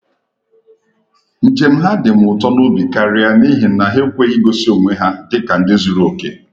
Njem ha dịm ụtọ n'obi karịa n’ihi na ha ekweghị igosi onwe ha dị ka ndị zuru oke